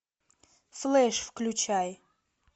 флэш включай